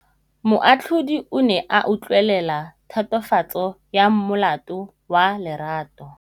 Moatlhodi o ne a utlwelela tatofatsô ya molato wa Lerato.